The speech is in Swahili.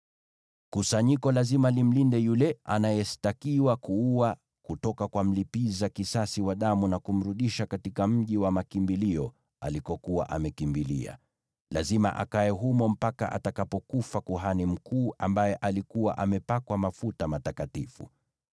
Kusanyiko ni lazima limlinde yule anayeshtakiwa kuua kutoka kwa mlipiza kisasi wa damu, na kumrudisha katika mji wa makimbilio alikokuwa amekimbilia. Lazima akae humo mpaka atakapokufa kuhani mkuu ambaye alikuwa amepakwa mafuta matakatifu.